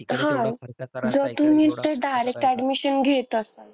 हां. जर तुम्ही ते direct admission घेत असाल,